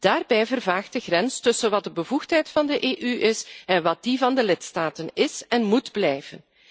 Daarbij vervaagt de grens tussen wat de bevoegdheid van de EU is en wat die van de lidstaten is en moet blijven.